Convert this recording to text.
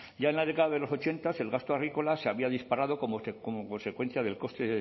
ya en la década de los ochenta el gasto agrícola se había disparado como consecuencia del coste